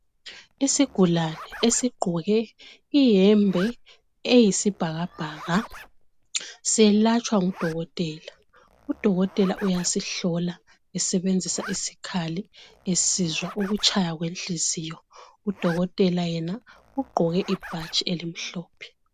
Isigulani esingqoke iyembe eyisibhakabhaka selatshwa ngudokotela udokotela uyasihlola esebenzisa isikhali esizwa ukutshaya kwehliziyo udokotela yena ugqoke ibhatshi elimhlophe